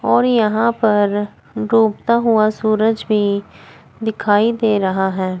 और यहां पर डूबता हुआ सूरज भी दिखाई दे रहा है।